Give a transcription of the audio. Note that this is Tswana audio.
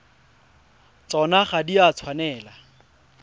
tsona ga di a tshwanela